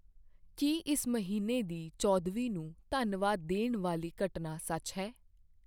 ਕੀ ਇਸ ਮਹੀਨੇ ਦੀ ਚੌਦ੍ਹਵੀਂ ਨੂੰ ਧੰਨਵਾਦ ਦੇਣ ਵਾਲੀ ਘਟਨਾ ਸੱਚ ਹੈ